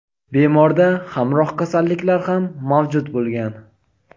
bemorda hamroh kasalliklar ham mavjud bo‘lgan.